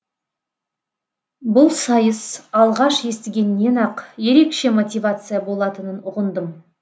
бұл сайыс алғаш естігеннен ақ ерекше мотивация болатынын ұғындым